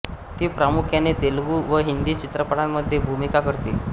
ती प्रामुख्याने तेलुगू व हिंदी चित्रपटांमध्ये भूमिका करते